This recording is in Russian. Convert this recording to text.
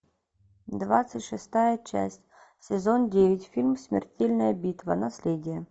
двадцать шестая часть сезон девять фильм смертельная битва наследие